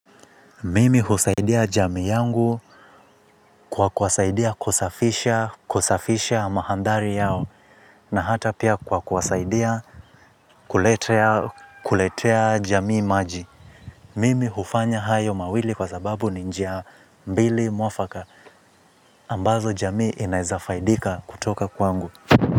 Mimi husaidia jamii yangu kwa kuwasaidia kusafisha madhari yao na hata pia kwa kwasaidia kuletea jamii maji. Mimi hufanya hayo mawili kwa sababu ni njia mbili muafaka ambazo jamii inaeza faidika kutoka kwangu.